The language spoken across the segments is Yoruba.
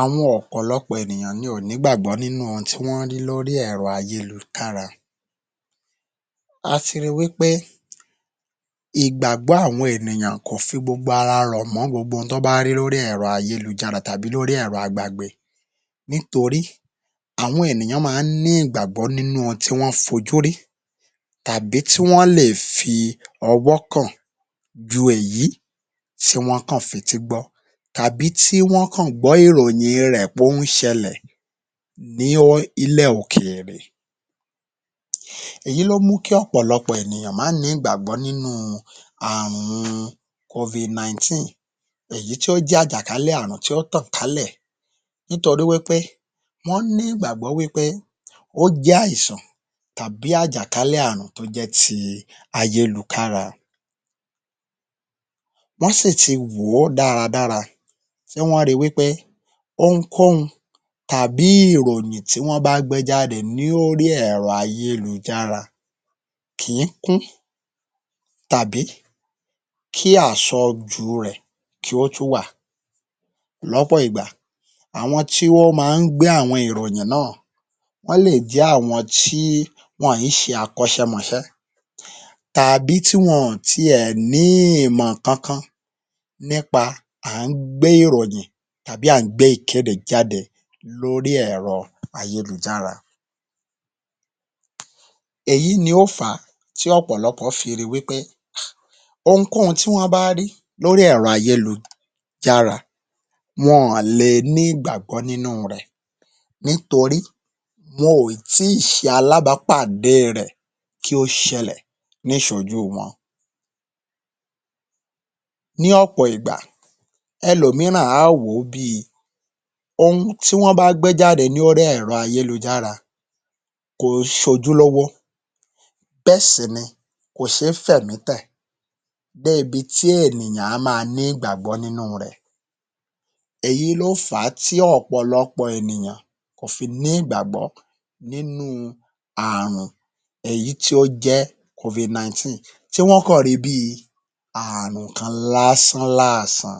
Àwọn ọ̀pọ̀lọpọ̀ ènìyàn ni ò nígbàgbọ́ nínú ohun tí wọ́n rí lórí ẹ̀rọ ayélutára. A ti ri wí pé igbàgbọ́ àwọn ènìyàn kò fi gbogbo ara rọ̀ mọ́ gbogbo ohun t’ọ́n wọ́n bá rí lórí ẹ̀rọ ayélujára tàbí lórí ẹ̀rọ agbagbe nítorí àwọn ènìyàn ma ń ní ìgbàgbọ́ nínú ohun tí wọ́n fojú rí tàbí tí wọ́n lè fi ọwọ́ kàn ju èyí tí wọ́n kàn fetí gbọ́ tàbí tí wọ́n kàn gbọ́ ìròyìn in rẹ̀ pó ń ṣẹlẹ̀ ní ilẹ̀ òkèèrè. Èyí ló mú kí ọ̀pọ̀lọpọ̀ ènìyàn má ní ìgbàgbọ́ nínú u àrun COVID-19 èyí tó jẹ́ àjàkálẹ̀ àrùn tí ó tàn kálẹ̀ nítorí wí pé wọ́n ní ìgbàgbọ́ wí pé ó jẹ́ àìsàn tàbí àjàkálẹ̀ àrùn tó jẹ́ ti ayélukára. Wọ́n sì ti wò ó dáradára tí wọ́n ri wí pé ohunkókun tàbí ìròyìn tí wọ́n bá gbé jáde ní órí ẹ̀rọ ayélujára kì í kún tàbí kí àsọjù rẹ̀ kí ó tún wà lọ́pọ̀ ìgbà àwọn tí wọ́n ma ń gbé àwọn ìròyìn náà wọ́n lè jẹ́ àwọn tí wọn ì í ṣe akọ́ṣẹmọṣẹ́ tàbí tí wọn ò tiẹ̀ ní ìmọ̀ kankan nípa àńgbé ìròyìn tàbí àńgbé ìkéde lórí ẹ̀rọ ayélujára èyí ló fà á tí ọ̀pọ̀lọpọ̀ fi ri wí pé ohunkóhun tí wọ́n bá rí lórí ẹ̀rọ ayélujára wọn ò lè ní ìgbàgbọ́ nínú u rẹ̀ nítorí wọn ò tí ì ṣe alábápàdé e rẹ̀ kí ó ṣẹlẹ̀ níwájú wọn. Ní ọ̀pọ̀ ìgbà, ẹlòmíràn á wò ó bí i ohun tí wọ́n bá gbé jáde lórí ẹ̀rọ ayélujára kò ń ṣojúlówó bẹ́ẹ̀ sì ni kò ṣé fẹ̀mí tẹ̀ débi tí ènìyàn á máa ní ìgbàgbọ́ nínú u rẹ̀. Èyí ló fà á tí ọ̀pọ̀lọpọ̀ ènìyàn kò fi ní ìgbàgbọ́ nínú u àrùn èyí tí ó jẹ́ COVID-19. Ṣé wọ́n kàn ri bí i àrùn kan lásán-làsàn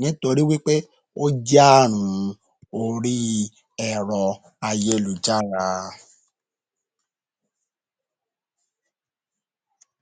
nítorí wí pé ó jẹ́ àrùn orí i ẹ̀rọ ayélujára.